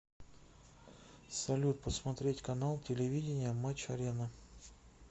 салют посмотреть канал телевидения матч арена